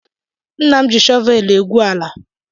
Nna m ji shọvelụ egwu ala.